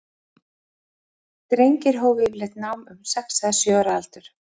Drengir hófu yfirleitt nám um sex eða sjö ára aldur.